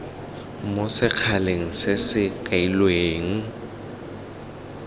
mo sekgaleng se se kailweng